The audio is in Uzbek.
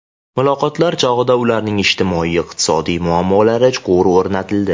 Muloqotlar chog‘ida ularning ijtimoiy-iqtisodiy muammolari chuqur o‘rganildi.